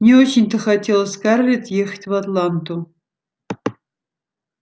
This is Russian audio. не очень-то хотелось скарлетт ехать в атланту